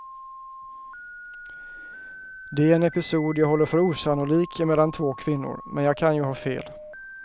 Det är en episod jag håller för osannolik emellan två kvinnor, men jag kan ju ha fel.